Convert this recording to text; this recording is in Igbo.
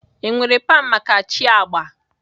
Enwere pan maka chi agba?